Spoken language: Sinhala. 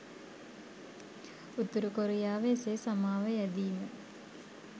උතුරු කොරියාව එසේ සමාව යැදීම